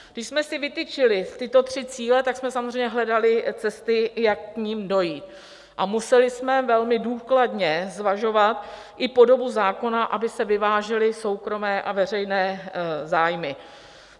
Když jsme si vytyčili tyto tři cíle, tak jsme samozřejmě hledali cesty, jak k nim dojít, a museli jsme velmi důkladně zvažovat i podobu zákona, aby se vyvážily soukromé a veřejné zájmy.